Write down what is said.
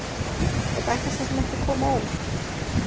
Þetta ætti svo sem ekki að koma á óvart.